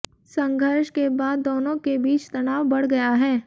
संघर्ष के बाद दोनों के बीच तनाव बढ़ गया है